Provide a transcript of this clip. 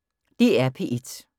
DR P1